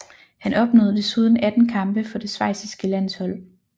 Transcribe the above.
Han opnåede desuden 18 kampe for det schweiziske landshold